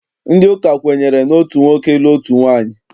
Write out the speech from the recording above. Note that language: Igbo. Ndị ụka kwenyere n'otu nwoke ịlụ otu nwaanyị.